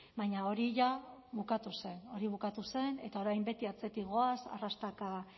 baina hori ja bukatu zen hori bukatu zen eta orain beti atzetik goaz arrastaka